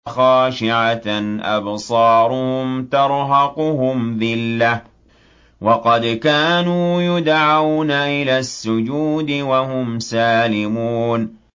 خَاشِعَةً أَبْصَارُهُمْ تَرْهَقُهُمْ ذِلَّةٌ ۖ وَقَدْ كَانُوا يُدْعَوْنَ إِلَى السُّجُودِ وَهُمْ سَالِمُونَ